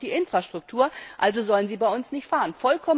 Wir haben nicht die Infrastruktur, also sollen sie bei uns nicht fahren.